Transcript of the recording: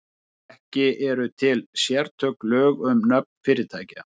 Ekki eru til sérstök lög um nöfn fyrirtækja.